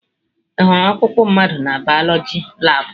Ị hụrụ ọkpụkpụ mmadụ na bioloji labụ?